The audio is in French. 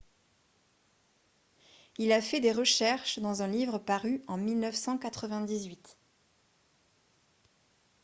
il a fait des recherches dans un livre paru en 1998